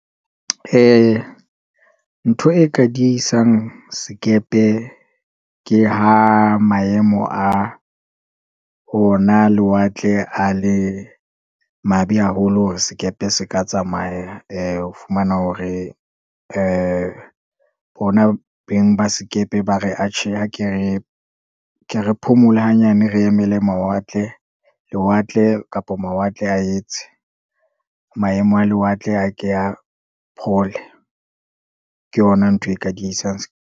Ntho e ka diehisang sekepe, ke ha maemo a ona lewatle a le mabe haholo, hore sekepe se ka tsamaya. o fumana hore, bona beng ba sekepe ba re atjhe ke re phomola hanyane. Re emele mawatle, lewatle kapa mawatle a etse, maemo a lewatle, a ke a phole, ke yona ntho e ka diehisang .